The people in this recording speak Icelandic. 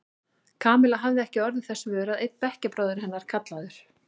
Kamilla hafði ekki orðið þess vör að einn bekkjarbróðir hennar, kallaður